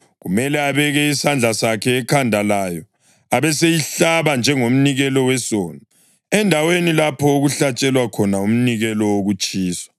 Kumele abeke isandla sakhe ekhanda layo, abeseyihlaba njengomnikelo wesono endaweni lapho okuhlatshelwa khona umnikelo wokutshiswa.